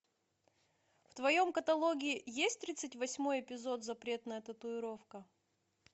в твоем каталоге есть тридцать восьмой эпизод запретная татуировка